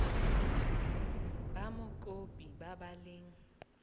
ba mokopi ba ba leng